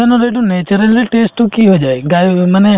ৰ সেইটো naturally test তো কি হৈ যায় gayab হৈ মানে